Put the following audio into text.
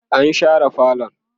an share falon